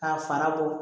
K'a fanga bɔ